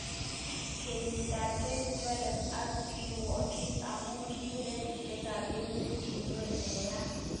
Kenyit ab 2011 kokirwokyi amun kiib rapishek kap emet kinko Meya.